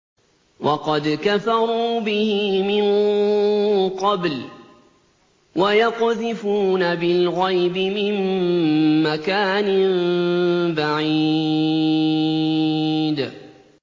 وَقَدْ كَفَرُوا بِهِ مِن قَبْلُ ۖ وَيَقْذِفُونَ بِالْغَيْبِ مِن مَّكَانٍ بَعِيدٍ